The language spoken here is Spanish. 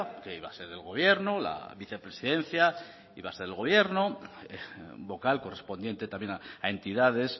que iba a ser del gobierno la vicepresidencia iba a ser el gobierno vocal correspondiente también a entidades